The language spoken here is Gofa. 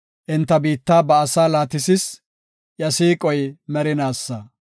Enta biitta ba asaa laatisis; iya siiqoy merinaasa.